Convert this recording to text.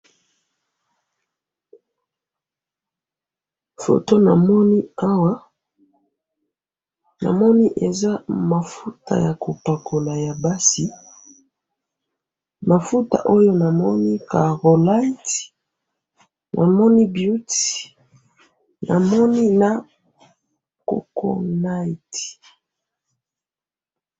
Foto namoninawa, namoni eza mafuta yakopakola yabasi, mafuta oyo namoni carolight, namoni beauty, namoni na coconut